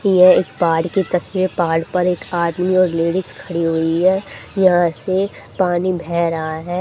यह एक पहाड़ की तस्वीर है पहाड़ पर एक आदमी और लेडीज खड़ी हुई है यहां से पानी बेह रहा है।